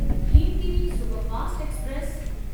Himgiri superfast express